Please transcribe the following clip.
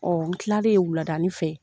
Ɔn n kilalen wuladani fɛ